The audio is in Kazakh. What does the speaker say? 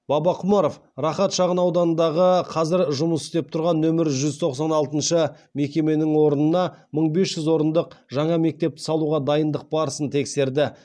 бабақұмаров рахат шағын ауданындағы қазір жұмыс істеп тұрған нөмірі жүз тоқсан алтыншы мекеменің орнына мың бес жүз орындық жаңа мектепті салуға дайындық барысын тексерді